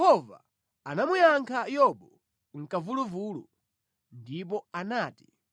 Apo Yehova anamuyankha Yobu mʼkamvuluvulu. Ndipo anati: